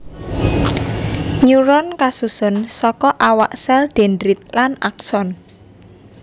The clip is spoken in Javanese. Neuron kasusun saka awak sèl dendrit lan akson